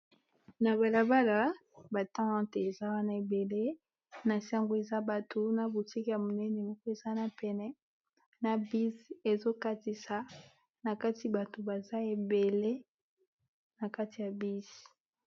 na balabala batente eza wana ebele na sango eza bato na botiki ya monene moko ezana pene na bis ezokatisa na kati bato baza ebele na kati ya bis